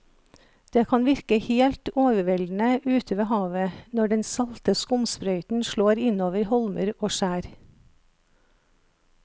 Det kan virke helt overveldende ute ved havet når den salte skumsprøyten slår innover holmer og skjær.